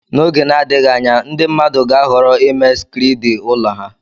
N'oge na-adịghị anya ndị mmadụ ga-ahọrọ ịme skriidi ụlọ ha.